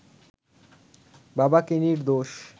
বাবাকে নির্দোষ